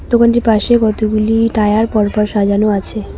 দোকানটির পাশে কতগুলি টায়ার পর পর সাজানো আছে।